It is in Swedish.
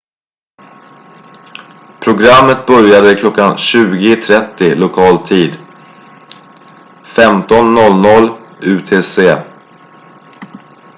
programmet började kl. 20.30 lokal tid 15.00 utc